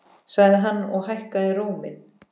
sagði hann og hækkaði róminn.